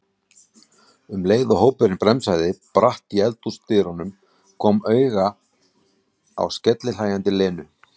um leið og hópurinn bremsaði bratt í eldhúsdyrum, kom auga á skellihlæjandi Lenu.